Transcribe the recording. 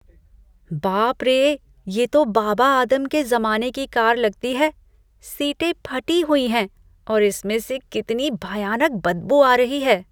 बाप रे! ये तो बाबा आदम के जमाने की कार लगती है। सीटें फटी हुई हैं और इसमें से कितनी भयानक बदबू आ रही है।